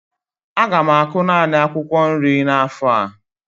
Aga m akụ naanị akwụkwọ nri n'afọ a